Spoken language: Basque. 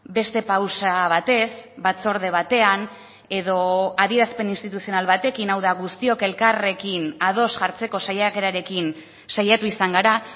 beste pausa batez batzorde batean edo adierazpen instituzional batekin hau da guztiok elkarrekin ados jartzeko saiakerarekin saiatu izan gara